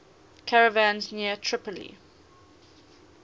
caravans near tripoli